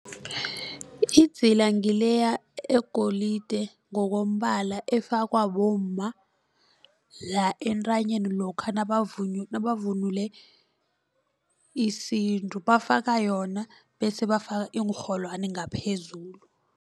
Idzila ngileya egolide ngokombala efakwa bomma la entanyeni lokha nabavunule isintu bafaka yona bese bafaka iinrholwani ngaphezulu.